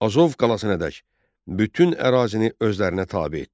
Azov qalasına dək bütün ərazini özlərinə tabe etdi.